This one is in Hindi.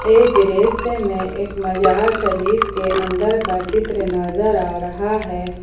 इस दृश्य से में एक मजार शरीफ के अंदर का चित्र नजर आ रहा है।